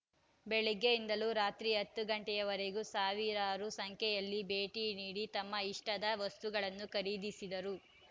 ಬೆಳಗ್ಗೆಯಿಂದಲೂ ರಾತ್ರಿ ಹತ್ತು ಗಂಟೆಯವರೆಗೂ ಸಾವಿರಾರು ಸಂಖ್ಯೆಯಲ್ಲಿ ಭೇಟಿ ನೀಡಿ ತಮ್ಮ ಇಷ್ಟದ ವಸ್ತುಗಳನ್ನು ಖರೀದಿಸಿದರು